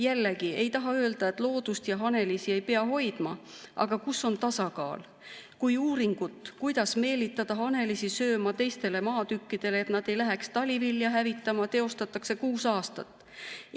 Jällegi, ei taha öelda, et loodust ja hanelisi ei pea hoidma, aga kus on tasakaal, kui uuringut, kuidas meelitada hanelisi sööma teistele maatükkidele, et nad ei läheks talivilja hävitama, teostatakse kuus aastat?